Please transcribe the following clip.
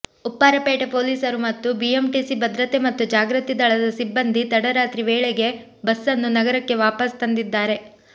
ಉಪ್ಪಾರಪೇಟೆ ಪೊಲೀಸರು ಮತ್ತು ಬಿಎಂಟಿಸಿ ಭದ್ರತೆ ಮತ್ತು ಜಾಗೃತಿ ದಳದ ಸಿಬ್ಬಂದಿ ತಡರಾತ್ರಿ ವೇಳೆಗೆ ಬಸ್ಸನ್ನು ನಗರಕ್ಕೆ ವಾಪಸ್ ತಂದಿದ್ದಾರೆ